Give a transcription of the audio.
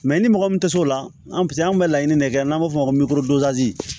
Mɛ i ni mɔgɔ min tɛ s'o la an bɛ se an bɛ laɲini de kɛ n'an b'a fɔ o ma ko